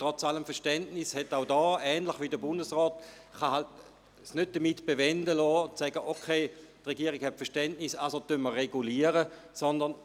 Trotz allen Verständnisses kann es die Regierung wie der Bundesrat nicht dabei bewenden lassen, Verständnis zu haben und deshalb regulieren zu wollen.